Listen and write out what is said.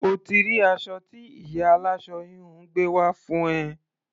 O ti rí aṣọ tí ìyá aláṣọ-híhun gbé wá fún ẹ.